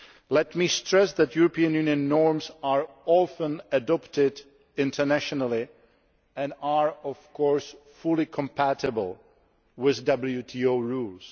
Let me stress that European Union norms are often adopted internationally and are, of course, fully compatible with WTO rules.